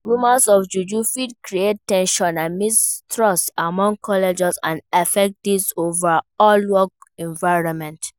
Rumors of juju fit create ten sion and mistrust among colleagues and affect di overall work environment.